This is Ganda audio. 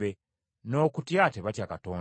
“N’okutya tebatya Katonda.”